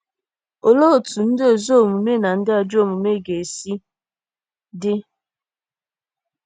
Olee otú ndị ezi omume na ndị ajọ omume ga-esi dị?